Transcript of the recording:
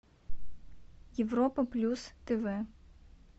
европа плюс тв